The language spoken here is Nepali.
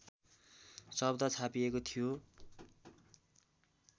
शब्द छापिएको थियो